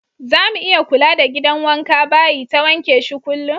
Zamu iya kula da gidan wanka/bayi ta wanke shi kullum.